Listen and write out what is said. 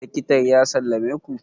likitan ya sallame ku?